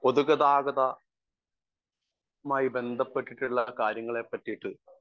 speaker 1 പൊതുഗതാഗതമായി ബന്ധപ്പെട്ടിട്ടിള്ള കാര്യങ്ങളെപ്പറ്റിട്ട്